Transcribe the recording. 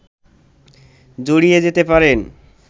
জড়িয়ে যেতে পারেন